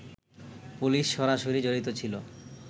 police সরাসরি জড়িত ছিল